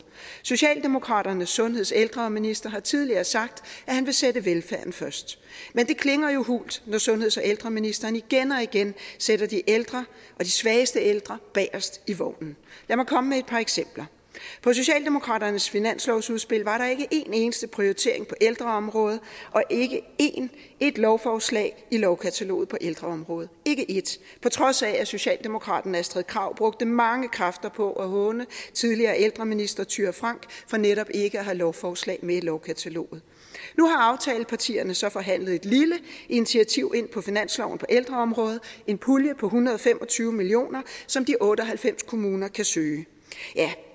socialdemokraternes sundheds og ældreminister har tidligere sagt at han vil sætte velfærden først men det klinger jo hult når sundheds og ældreministeren igen og igen sætter de ældre og de svageste ældre bagerst i vognen lad mig komme med et par eksempler på socialdemokraternes finanslovsudspil var der ikke en eneste prioritering på ældreområdet og ikke ét lovforslag i lovkataloget på ældreområdet ikke ét på trods af at socialdemokraten astrid krag brugte mange kræfter på at håne tidligere ældreminister thyra frank for netop ikke at have lovforslag med i lovkataloget nu har aftalepartierne så forhandlet et lille initiativ ind på finansloven på ældreområdet en pulje på en hundrede og fem og tyve million kr som de otte og halvfems kommuner kan søge ja